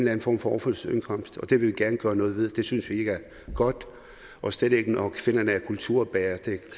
anden form for overførselsindkomst og det vil vi gerne gøre noget ved for det synes vi ikke er godt og slet ikke når kvinderne er kulturbærere det